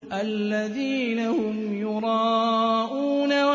الَّذِينَ هُمْ يُرَاءُونَ